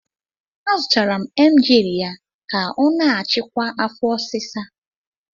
Azụtara m Emgyl ya ka ọ na-achịkwa afo osisa